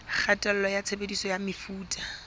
kgatello ya tshebediso ya mefuta